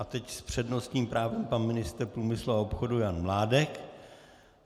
A teď s přednostním právem i ministr průmyslu a obchodu Jan Mládek.